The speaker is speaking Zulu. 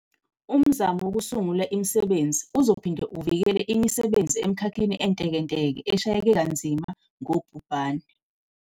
Umzamo wokusungula imisebenzi uzophinde uvikele imisebenzi emikhakheni entekenteke eshayeke kanzima ngubhubhane.